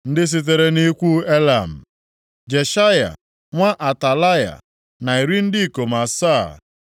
Ndị sitere nʼikwu Elam, Jeshaya nwa Atalaya, na iri ndị ikom asaa (70),